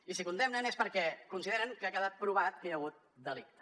i si condemnen és perquè consideren que ha quedat provat que hi ha hagut delicte